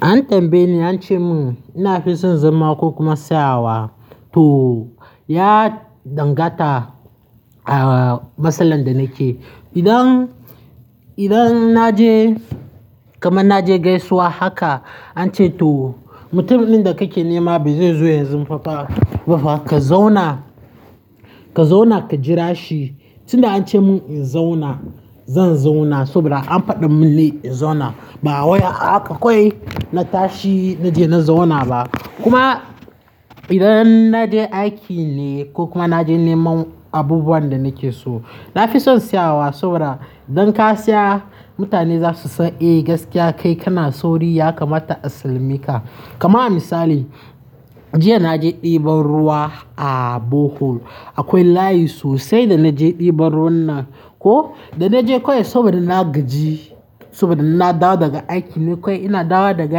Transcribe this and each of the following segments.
An tambaye ni an ce mun, na fi son zama ko kuma tsayawa? To ya dangata a matsalan da nake. Idan, idan na je kamar na je gaisuwa haka an ce to mutumin da kake nema bai zai zo yanzu ba fafa ka zauna, ka zauna ka jira shi. Tun da an ce mun in zauna zan zauna saboda an faɗa mun ne in zauna. Ba wai akwai na tashi na je na zauna ba. Kuma idan na je aiki ne ko kuma na je neman abubuwan da nake so, na fi son tsayawa saboda idan ka tsaya mutane za su san eh gaskiya kai kana sauri ya kamata a sallameka. Kamar misali, jiya na je ɗiban ruwa a Borehole. Akwai layi sosai da na je ɗiban ruwan nan. Ko da na je kawai saboda na gaji saboda na dawo daga aiki ne kawai ina dawo daga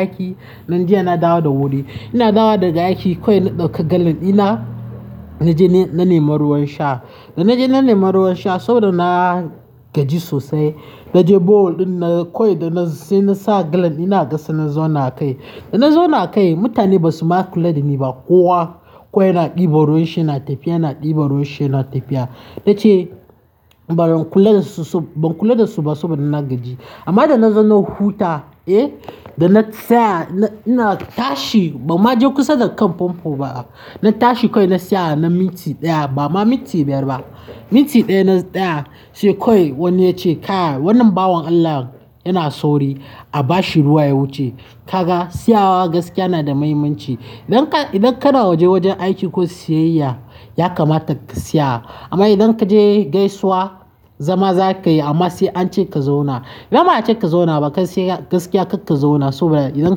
aiki nan jiya na dawo da wuri. Ina dawo daga aiki kawai na ɗauka galan ina na je na nema ruwan sha. Da na je na nema ruwan sha saboda na gaji sosai na je borehole ɗin na kawai da na sai nasa galan ɗina a ƙasa na zauna a kai. Da na zauna a kai mutane ba su ma kula da ni ba. Kowa kawai na ɗiban ruwan shi yana tafiya, yana ɗiban ruwan shi yana tafiya. Na ce ba don kula da su ba-- ban kula da su ba saboda na gaji. Amma da na zauna huta, eh, da na tsaya ina tashi ba ma je kusa da kan pompo ba. Na tashi kawai na siya na minti ɗaya ba ma minti biyar ba. Minti ɗaya na tsaya sai kawai wani ya ce ka wannan bawon Allah yana sauri a bashi ruwa ya wuce. Kaga tsayawa gaskiya na da muhimmanci. Idan ka, idan kana waje wajen aiki ko siyayya ya kamata ka siya. Amma idan kaje gaisuwa zama za ka yi amma sai an ce ka zauna. Ba ma an ce ka zauna ba gaskiya karka zauna saboda idan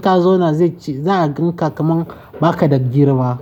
ka zauna zai ci-- za a gan ka kamar ba ka da girma.